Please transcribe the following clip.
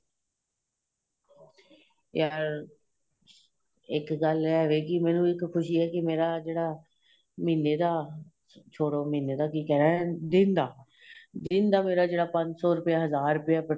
ਯਾਰ ਇੱਕ ਗੱਲ ਹੈ ਹੋਵੇਗੀ ਮੈਨੂੰ ਇੱਕ ਖੁਸ਼ੀ ਏ ਮੇਰਾ ਜਿਹੜਾ ਮਹੀਨੇਂ ਦਾ ਛੋੜੋ ਮਹੀਨੇਂ ਦਾ ਕਿ ਕਹਿਣਾ ਦਿਨ ਦਾ ਦਿਨ ਜਿਹੜਾ ਪੰਜ ਸ਼ੋ ਰੁਪਏ ਹਜ਼ਾਰ ਰੁਪਇਆਂ